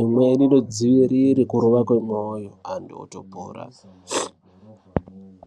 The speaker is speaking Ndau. imweni inodzivirire kurova kwemwoyo anhu otopora.